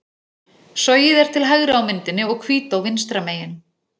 Sogið er til hægri á myndinni og Hvítá vinstra megin.